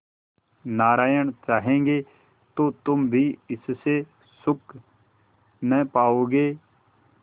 नारायण चाहेंगे तो तुम भी इससे सुख न पाओगे